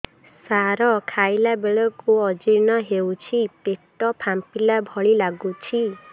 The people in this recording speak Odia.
ସାର ଖାଇଲା ବେଳକୁ ଅଜିର୍ଣ ହେଉଛି ପେଟ ଫାମ୍ପିଲା ଭଳି ଲଗୁଛି